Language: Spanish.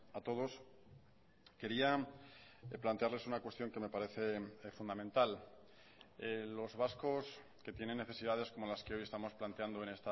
a todos quería plantearles una cuestión que me parece fundamental los vascos que tienen necesidades como las que hoy estamos planteando en